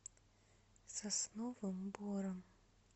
сосновым бором